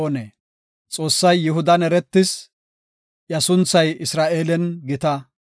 Xoossay Yihudan eretis; iya sunthay Isra7eelen gita.